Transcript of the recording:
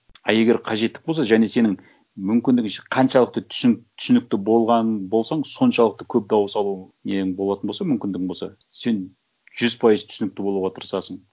а егер қажеттік болса және сенің мүмкіндігінше қаншалықты түсінікті болғаның болсаң соншалықты көп дауыс алу нең болатын болса мүмкіндігің болса сен жүз пайыз түсінікті болуға тырысасың